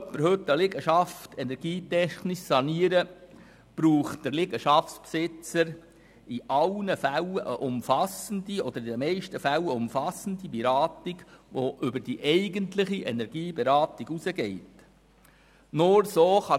Will jemand heute eine Liegenschaft energietechnisch sanieren, braucht der Liegenschaftsbesitzer in den meisten Fällen eine umfassende Beratung, die über die eigentliche Energieberatung hinausgeht.